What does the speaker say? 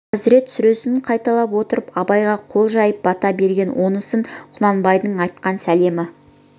хазірет сүресін қайталап отырып абайға қол жайып бата бергенді онысы құнанбайдың айтқан сәлемі